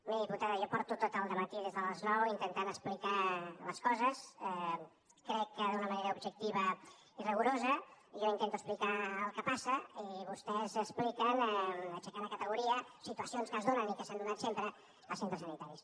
miri diputada jo fa tot el dematí des de les nou que intento explicar les coses crec que d’una manera objectiva i rigorosa jo intento explicar el que passa i vostès expliquen aixecant a categoria situacions que es donen i que s’han donat sempre en els centres sanitaris